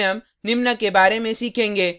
इस tutorial में हम निम्न के बारे में सीखेंगे